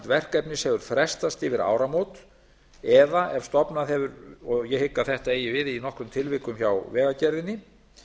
verkefnis hefur frestast yfir áramót eða ef stofnað hefur og ég hygg að þetta eigi við í nokkrum tilvikum hjá vegagerðinni